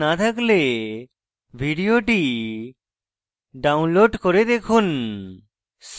ভাল bandwidth না থাকলে ভিডিওটি download করে দেখুন